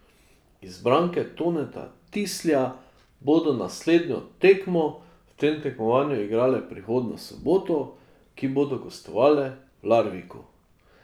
Izbranke Toneta Tislja bodo naslednjo tekmo v tem tekmovanju igrale prihodnjo soboto, ko bodo gostovale v Larviku.